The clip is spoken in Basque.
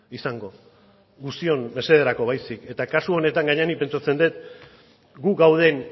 izango guztion mesederako baizik eta kasu honetan gainera nik pentsatzen dut gu gauden